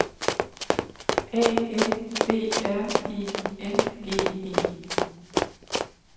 A N B R I N G E